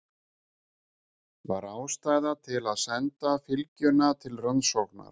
Var ástæða til að senda fylgjuna til rannsóknar?